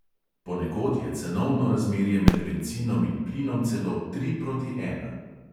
Ponekod je cenovno razmerje med bencinom in plinom celo tri proti ena.